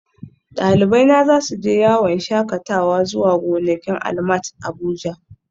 Dalibaina za su je yawon shakatawa zuwa gonakin ALMAT Abuja